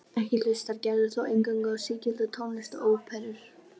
Ekki hlustar Gerður þó eingöngu á sígilda tónlist og óperur.